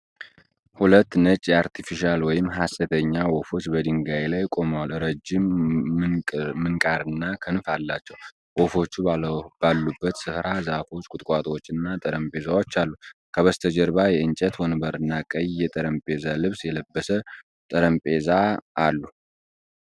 ሁለት ነጭ የአርቴፊሻል (ሀሰተኛ) ወፎች በድንጋይ ላይ ቆመዋል። ረጅም ምንቃርና ክንፍ አላቸው። ወፎቹ ባሉበት ስፍራ ዛፎች፣ ቁጥቋጦዎችና ጠረጴዛዎች አሉ። ከበስተጀርባ የእንጨት ወንበርና ቀይ የጠረጴዛ ልብስ የለበሰ ጠረጴዛ አሉ።